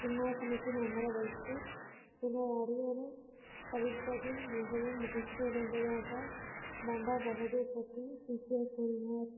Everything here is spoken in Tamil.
சிம்மாசனத்தில் அமர வைத்து என்னை அறியாமல் தவிர்ப்பதில் மிகவும் முதிர்ச்சியடைந்ததாக பண்டா பகதூர் பற்றி கூறினார்